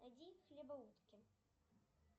найди хлебоутки